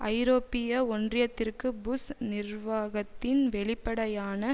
ஐரோப்பிய ஒன்றியத்திற்கு புஷ் நிர்வாகத்தின் வெளிப்படையான